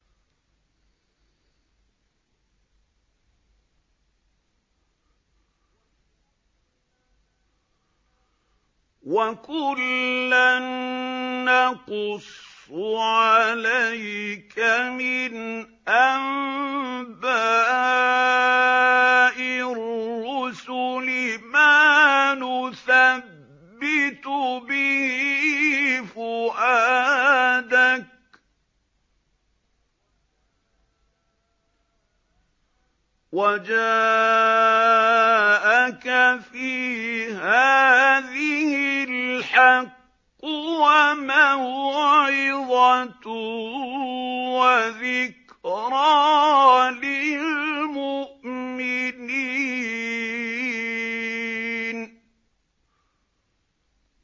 وَكُلًّا نَّقُصُّ عَلَيْكَ مِنْ أَنبَاءِ الرُّسُلِ مَا نُثَبِّتُ بِهِ فُؤَادَكَ ۚ وَجَاءَكَ فِي هَٰذِهِ الْحَقُّ وَمَوْعِظَةٌ وَذِكْرَىٰ لِلْمُؤْمِنِينَ